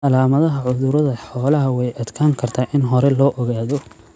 Calaamadaha cudurrada xoolaha way adkaan kartaa in hore loo ogaado.